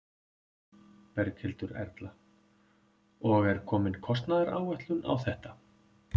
Berghildur Erla: Og er komin kostnaðaráætlun á þetta?